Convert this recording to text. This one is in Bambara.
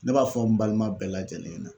Ne b'a fɔ n balima bɛɛ lajɛlen ɲɛna